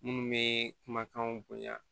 Minnu bɛ kumakanw bonya